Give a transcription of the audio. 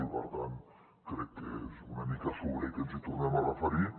i per tant crec que és una mica sobrer que ens hi tornem a referir